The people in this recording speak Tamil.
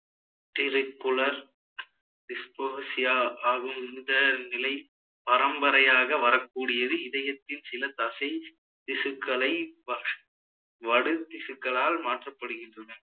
disposia ஆகும் இந்த நிலை பரம்பரையாக வரக்கூடியது இதயத்தில் சில தசைத்திசுக்களை வ~ வடு திசுக்களால் மாற்றப்படுகின்றன